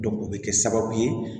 o bɛ kɛ sababu ye